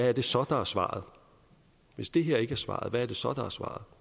er det så der er svaret hvis det her ikke er svaret hvad er det så der er svaret